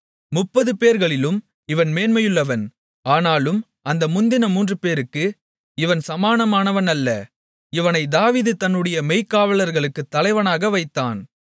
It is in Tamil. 30 பேர்களிலும் இவன் மேன்மையுள்ளவன் ஆனாலும் அந்த முந்தின மூன்றுபேருக்கும் இவன் சமானமானவன் அல்ல இவனை தாவீது தன்னுடைய மெய்க்காவலர்களுக்குத் தலைவனாக வைத்தான்